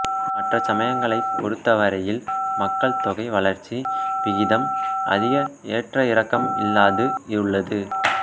மற்ற சமயங்களைப் பொறுத்தவரையில் மக்கள் தொகை வளர்ச்சி விகிதம் அதிக ஏற்றஇறக்கம் இல்லாது உள்ளது